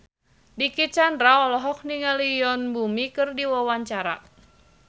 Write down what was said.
Dicky Chandra olohok ningali Yoon Bomi keur diwawancara